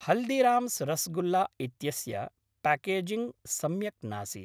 हल्दिराम्स् रस्गुल्ला इत्यस्य पाकेजिङ्ग् सम्यक् नासीत्।